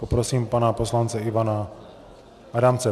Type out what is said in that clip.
Poprosím pana poslance Ivana Adamce.